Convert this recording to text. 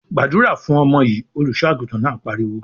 "Gbàdúrà fún ọmọ yìí!" Olùṣọ́-àgùntàn náà pariwo.